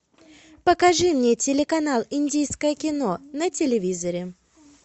покажи мне телеканал индийское кино на телевизоре